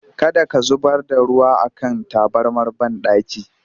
Kada ka zubar da ruwa a kan tabarmar banɗaki!